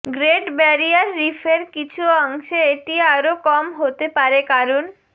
great Barrier রিফের কিছু অংশে এটি আরো কম হতে পারে কারণ